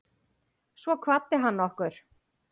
Svo kvaddi hann okkur.